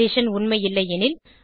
condition உண்மை இல்லையெனில்